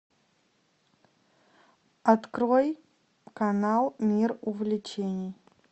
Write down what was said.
открой канал мир увлечений